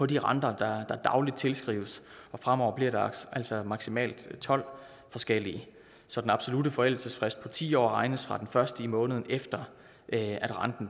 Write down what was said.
de renter der dagligt tilskrives fremover bliver der altså maksimalt tolv forskellige så den absolutte forældelsesfrist på ti år regnes fra den første i måneden efter at renten